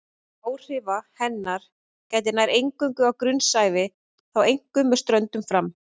Áhrifa hennar gætir nær eingöngu á grunnsævi og þá einkum með ströndum fram.